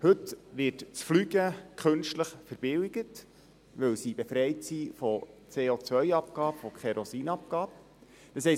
Heute wird das Fliegen künstlich verbilligt, weil es von der COAbgabe und der Kerosinabgabe befreit ist.